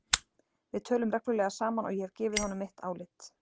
Við tölum reglulega saman og ég hef gefið honum mitt álit.